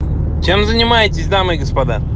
чем занимаетесь дамы и господа